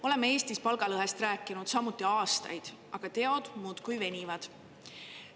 Oleme Eestis palgalõhest rääkinud samuti aastaid, aga teod muudkui venivad.